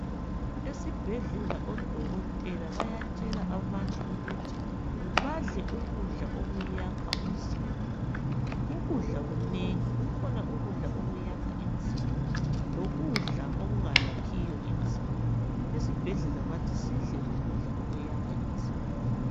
Esibhedlela odokotela bayatshela abantu ukuthi badle ukudla okwakha umzimba. Ukudla kunengi kukhona okwakha umzimba kubekhona okungakhi umzimba. Esibhedlela bathi sidle ukudla okwakha umzimba.